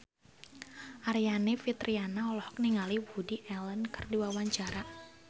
Aryani Fitriana olohok ningali Woody Allen keur diwawancara